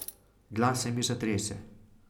Glas se mi zatrese.